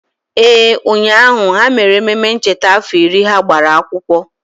Ee, ụnyahụ, ha mere ememe ncheta afọ iri ha gbara akwụkwọ